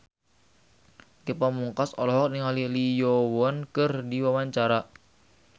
Ge Pamungkas olohok ningali Lee Yo Won keur diwawancara